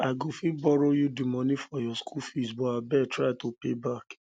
i go fit borrow you the money for your school fees but abeg try to pay back